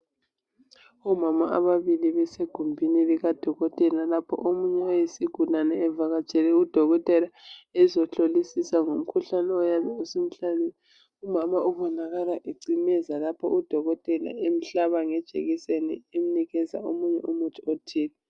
Omama ababili bese gumbini lika dokotela lapho omunye oyisigulani evakatshele udokotela ezohlolisisa ngomkhuhlane oyabe usumhlasele. Umama ubonakala ecimeza lapho udokotela emhlaba ngejekiseni emnikeza omunye umuthi othile.